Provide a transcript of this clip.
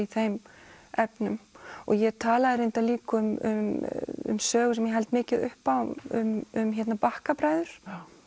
þeim efnum ég talaði reyndar líka um um sögu sem ég held mikið upp á um um Bakkabræður